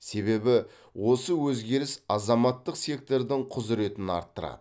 себебі осы өзгеріс азаматтық сектордың құзыретін арттырады